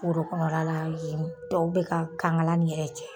Foro kɔnɔla yen, tɔw bɛ ka kaŋala nin yɛrɛ cɛ.